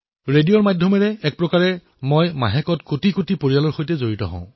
ৰেডিঅৰ জৰিয়তে কোটি কোটি পৰিয়ালৰ মুখামুখি হওঁ